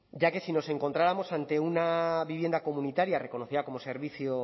ya que si nos encontrábamos ante una vivienda comunitaria reconocida como servicio